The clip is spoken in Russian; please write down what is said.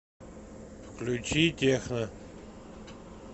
включи техно